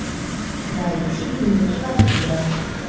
найти дневники вампира